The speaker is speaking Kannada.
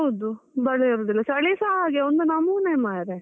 ಹೌದು ಮಳೆ ಇರುದಿಲ್ಲ, ಚಲೀಸ ಹಾಗೆ ಒಂದು ನಮೂನೆ ಮರ್ರೆ.